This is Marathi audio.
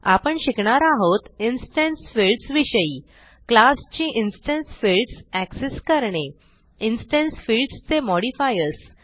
आपण शिकणार आहोत इन्स्टन्स फील्ड्स विषयी क्लास ची इन्स्टन्स फिल्डस accessकरणे इन्स्टन्स फील्ड्स चे मॉडिफायर्स